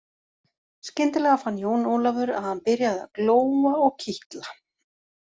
Skyndilega fann Jón Ólafur að hann byrjaði að glóa og kitla.